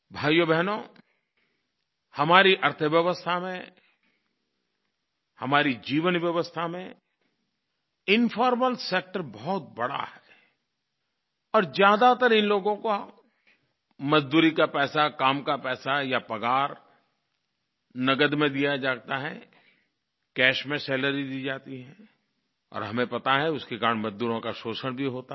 भाइयोबहनो हमारी अर्थव्यवस्था में हमारी जीवन व्यवस्था में इन्फॉर्मल सेक्टर बहुत बढ़ा है और ज्यादातर इन लोगों का मज़दूरी का पैसा काम का पैसा या पगार नग़द में दिया जाता है कैश में सैलरी दी जाती है और हमें पता है उसके कारण मजदूरों का शोषण भी होता है